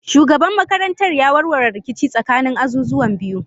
Shugaban makarantar ya warware rikici tsakanin azuzuwan biyu.